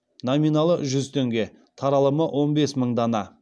номиналы жүз теңге таралымы он бес мың дана